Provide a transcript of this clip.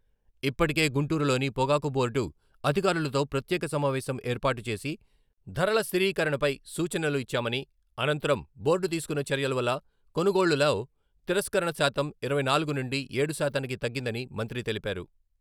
ఇప్పటికే గుంటూరులోని పొగాకు బోర్డు అధికారులతో ప్రత్యేక సమావేశం ఏర్పాటు చేసి ధరల స్థిరీకరణపై సూచనలు ఇచ్చామని, అనంతరం బోర్డు తీసుకున్న చర్యలవల్ల కొనుగోళ్ళలో తిరస్కరణ శాతం ఇరవై నాలుగు నుండి ఏడు శాతానికి తగ్గిందని మంత్రి తెలిపారు.